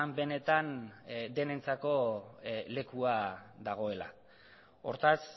benetan denentzako lekua dagoela hortaz